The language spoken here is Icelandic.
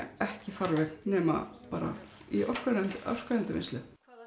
ekki farveg nema í orkuendurvinnslu